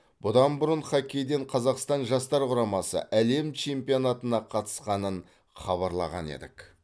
бұдан бұрын хоккейден қазақстан жастар құрамасы әлем чемпионатына қатысқанын хабарлаған едік